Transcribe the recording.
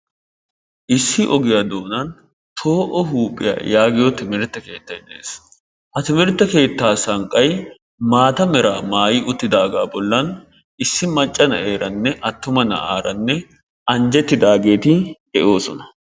issi ogiyaa doonan poo'o huuphiya yaagiya sanqqay dees. ha timirtte sanqqa maata malaa maayi uttidaagaa bollan issi macca na'eeranne attuma naara anjjetidaageti de'oosona.